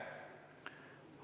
Aitäh!